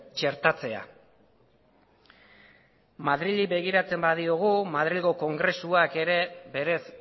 txertatzea madrili begiratzen badiogu madrilgo kongresuak ere berez